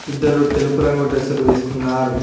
ఇద్దరు తెలుపు రంగు డ్రెస్సులు వేసుకున్నారు.